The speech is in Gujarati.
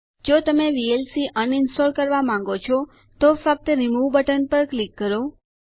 જો તમે વીએલસી અનઇન્સ્ટોલ કરવા માંગો છો તો ફક્ત રિમૂવ બટન પર ક્લિક કરો